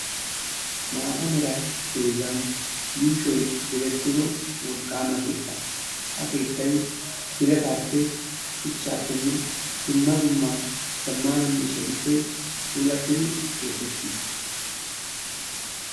Maata meera dozan yushshoy direttido wolqqama keetta. Ha keettay biiratape, shuchchapene dumma dumma zammana miishshatuppe puulatidi keexxetiis.